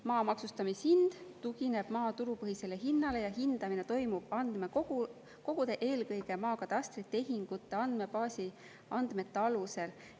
Maa maksustamishind tugineb maa turupõhisele hinnale ja hindamine toimub andmekogude, eelkõige maakatastritehingute andmebaasi andmete alusel.